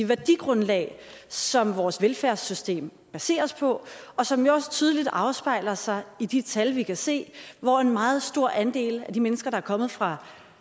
værdigrundlag som vores velfærdssystem baseres på og som jo også tydeligt afspejler sig i de tal vi kan se hvor en meget stor andel af de mennesker der er kommet fra